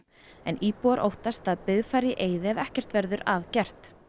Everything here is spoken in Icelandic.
en íbúar óttast að byggð fari í eyði ef ekkert verður að gert